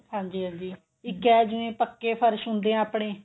ਹਾਂਜੀ ਹਾਂਜੀ ਇੱਕ ਇਹ ਜਿਵੇਂ ਪੱਕੇ ਫਰਸ਼ ਹੁੰਦੇ ਨੇ ਆਪਣੇ